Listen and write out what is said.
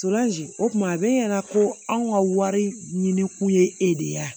o kuma a bɛ ɲɛna ko anw ka wari ɲini kun ye e de ye yan